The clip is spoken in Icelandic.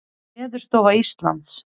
Veðurstofa Íslands.